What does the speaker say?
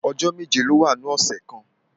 Ọjọ́ méje ló wà nínú ọ̀sẹ̀ kan